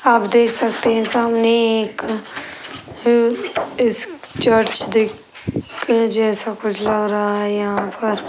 आप देख सकते हैं सामने एक अम इस चर्च दिख जैसा कुछ लग रहा है यहाँ पर।